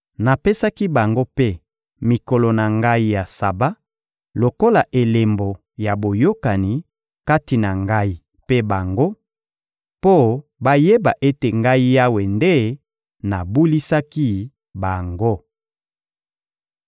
Napesaki bango mpe mikolo na Ngai ya Saba lokola elembo ya boyokani kati na Ngai mpe bango, mpo bayeba ete Ngai Yawe nde nabulisaki bango.